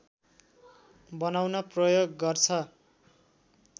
बनाउन प्रयोग गर्छ